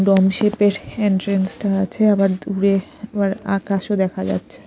Dong shape -এর entrance -টা আছে আবার দূরে আবার আকাশও দেখা যাচ্ছে।